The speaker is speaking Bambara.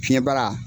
Fiɲɛ bara